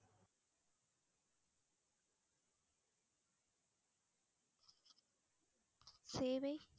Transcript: சேவை